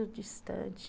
distante